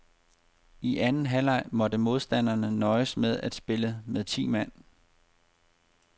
I anden halvleg måtte modstanderne nøjes med at spille med ti mand.